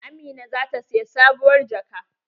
Amina zata siyi sabuwar jaka.